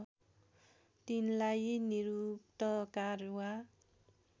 तिनलाई निरुक्तकार वा